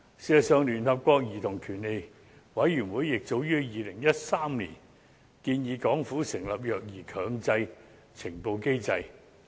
事實上，聯合國兒童權利委員會早於2013年已建議港府成立"虐兒強制呈報機制"。